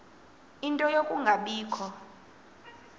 ie nto yokungabikho